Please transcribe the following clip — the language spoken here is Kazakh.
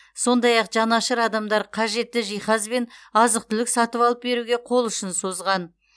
сондай ақ жанашыр адамдар қажетті жиһаз бен азық түлік сатып алып беруге қол ұшын созған